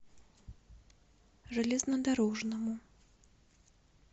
железнодорожному